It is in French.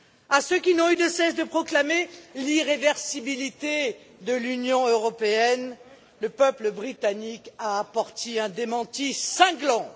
À ceux qui n'ont eu de cesse de proclamer l'irréversibilité de l'Union européenne, le peuple britannique a apporté un démenti cinglant.